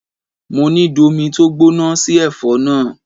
Mo ní domi tó gbóná sí ẹ̀fọ́ náà!